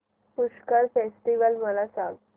Pushkar festival मला सांग